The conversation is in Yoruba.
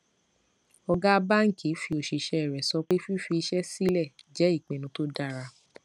ọgá báńkì fi òṣìsẹ rẹ sọ pé fífi iṣẹ sílẹ jẹ ipinnu tó dára